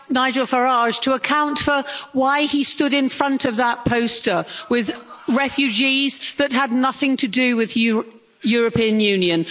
like Nigel Farage to account for why he stood in front of that poster with refugees that had nothing to do with the European Union.